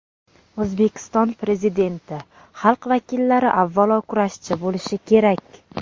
O‘zbekiston Prezidenti: Xalq vakillari avvalo kurashchi bo‘lishi kerak.